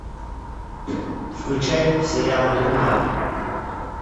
включай сериал дурман